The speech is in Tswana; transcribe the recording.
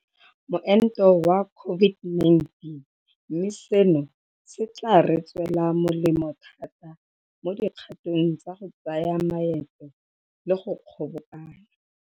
Moento wa COVID-19, mme seno se tla re tswela molemo thata mo dikgatong tsa go tsaya maeto le go kgobokana.